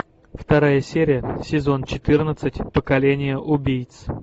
вторая серия сезон четырнадцать поколение убийц